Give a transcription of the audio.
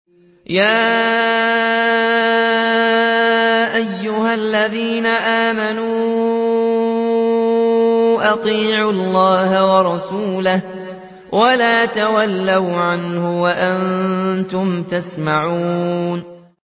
يَا أَيُّهَا الَّذِينَ آمَنُوا أَطِيعُوا اللَّهَ وَرَسُولَهُ وَلَا تَوَلَّوْا عَنْهُ وَأَنتُمْ تَسْمَعُونَ